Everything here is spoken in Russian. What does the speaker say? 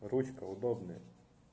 ручка удобная